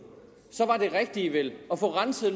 så var det rigtige vel at få renset